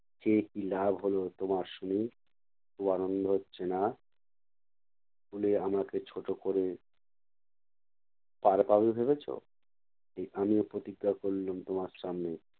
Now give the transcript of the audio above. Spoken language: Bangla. চেয়ে কী লাভ হবে তোমার শুনি? খুব আনন্দ হচ্ছে না? school এ আমাকে ছোট করে পাড় পাবে ভেবেছো? এই আমিও প্রতিজ্ঞা করলুম তোমার সামনে